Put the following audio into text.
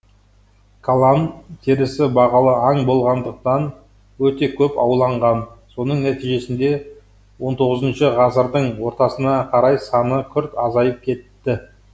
калан терісі бағалы аң болғандықтан өте көп ауланған соның нәтижесінде он тоғызыншы ғасырдың ортасына қарай саны күрт азайып кетті